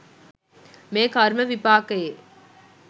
මෙය කර්ම විපාකයේ